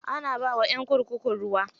Ana bawa ƴan kurkuku ruwa.